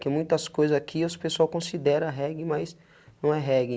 Que muitas coisas aqui as pessoas consideram reggae, mas não é reggae.